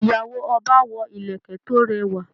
Ìyàwó ọba wọ ìlẹ̀kẹ̀ tó rẹwà.